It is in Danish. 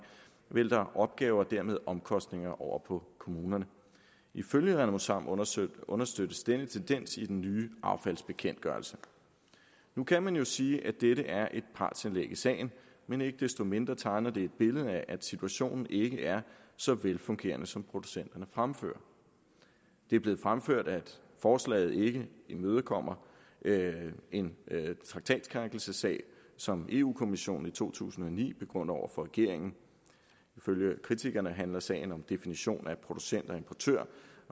vælter opgaver og dermed omkostninger over på kommunerne ifølge renosam understøttes understøttes denne tendens i den nye affaldsbekendtgørelse nu kan man jo sige at dette er et partsindlæg i sagen men ikke desto mindre tegner det et billede af at situationen ikke er så velfungerende som producenten fremført det er blevet fremført at forslaget ikke imødekommer en traktatskrænkelsessag som eu kommissionen i to tusind og ni begrunder over for regeringen ifølge kritikerne handler sagen om definition af producenter og importører